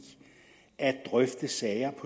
at drøfte sager